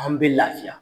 An bɛ lafiya